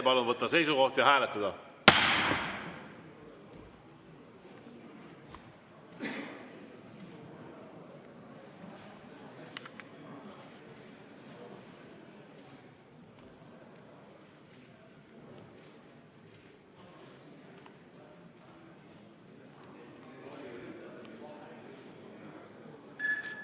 Palun võtta seisukoht ja hääletada!